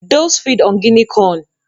Doves feed on Guinea corn.